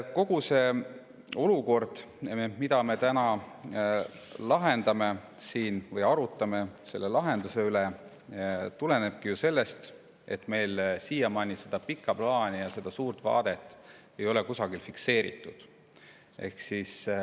Kogu see olukord, mida me täna siin lahendame või mille lahenduse üle arutame, tulenebki ju sellest, et meil siiamaani ei ole pikka plaani ja suurt vaadet kusagil fikseeritud.